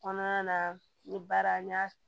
Kɔnɔna na n ye baara n y'a